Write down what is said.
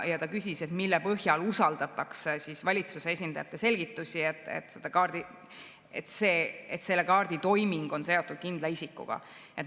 Ta küsis, mille põhjal usaldatakse valitsuse esindajate selgitusi, et kaarditoiming on seotud kindla isikuga.